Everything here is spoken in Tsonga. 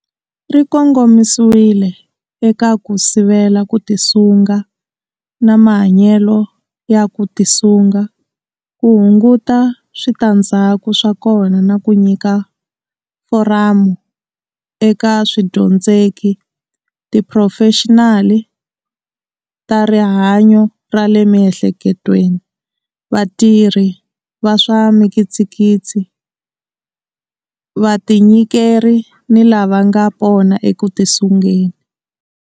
Ri kongomisiwile eka ku sivela ku tisunga na mahanyelo ya ku tisunga, ku hunguta switandzhaku swa kona na ku nyika foramu eka swidyondzeki, tiphurofexinali ta rihanyo ra le miehleketweni, vatirhi va swa mikitsikitsi, vatinyikeri ni lava nga pona eku tisungeni.